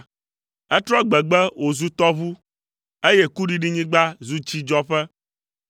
Etrɔ gbegbe wòzu tɔʋu, eye kuɖiɖinyigba zu tsidzɔƒe;